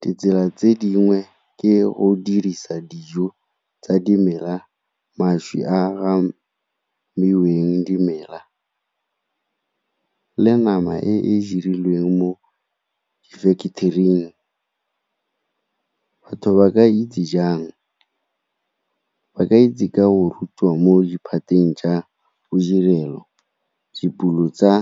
Ditsela tse dingwe ke go dirisa dijo tsa dimela, mašwi a a dimela le nama e e dirilweng mo factory-ing. Batho ba ka itse jang? Ba ka itse ka go rutiwa mo diphateng tsa bodirelo, dipulo tsa